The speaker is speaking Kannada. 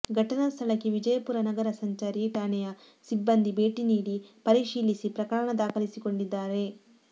ಘಟನಾ ಸ್ಥಳಕ್ಕೆ ವಿಜಯಪುರ ನಗರ ಸಂಚಾರಿ ಠಾಣೆಯ ಸಿಬ್ಬಂದಿ ಭೇಟಿ ನೀಡಿ ಪರಿಶೀಲಿಸಿ ಪ್ರಕರಣ ದಾಖಲಿಸಿಕೊಂಡಿದ್ದಾರೆ